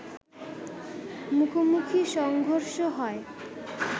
মুখোমুখি সংর্ঘষ হয়